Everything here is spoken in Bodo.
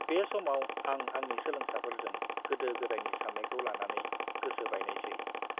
बे समाव, आं आंनि सोलोंसाफोरजों गोदो-गोदायनि साननायखौ लानानै गोसो बायनायसै।